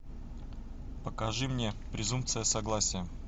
покажи мне презумпция согласия